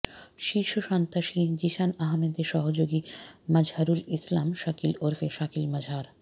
শীর্ষ সন্ত্রাসী জিসান আহমেদের সহযোগী মাজহারুল ইসলাম শাকিল ওরফে শাকিল মাজহার